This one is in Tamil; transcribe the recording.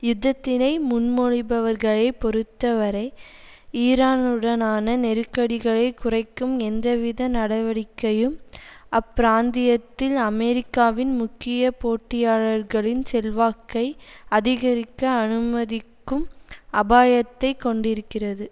யுத்தத்தினை முன்மொழிபவர்களை பொறுத்த வரை ஈரானுடனான நெருக்கடிகளை குறைக்கும் எந்தவித நடவடிக்கையும் அப்பிராந்தியத்தில் அமெரிக்காவின் முக்கிய போட்டியாளர்களின் செல்வாக்கை அதிகரிக்க அனுமதிக்கும் அபாயத்தைக் கொண்டிருக்கிறது